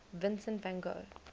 vincent van gogh